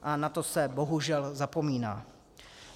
A na to se bohužel zapomíná.